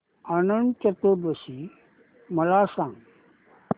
अनंत चतुर्दशी मला सांगा